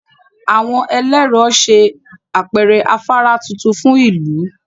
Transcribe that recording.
Àwọn ẹlẹ́rọ ṣe àpẹẹrẹ afárá tuntun fún ìlú